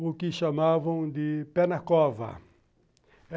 o que chamavam de pé na cova